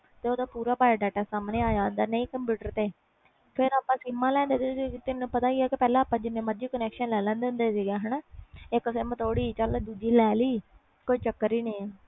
ਤੇ ਓਹਦਾ ਪੂਰਾ bio-data ਸਾਮਣੇ ਆ ਜਾਂਦਾ ਕੰਪਿਊਟਰ ਤੇ ਫਿਰ ਆਪਾ ਸਿਮ ਲੈਂਦੇ ਆ ਤੈਨੂੰ ਪਤਾ ਹੀ ਆ ਜਿੰਨੇ ਮਰਜੀ ਲੈ ਲੈਂਦੇ ਸੀ ਇਕ ਸਿਮ ਥੋੜੀ ਦੂਜੀ ਲੈ ਲਈ ਕੋਈ ਚੱਕਰ ਹੀ ਨਹੀਂ ਆ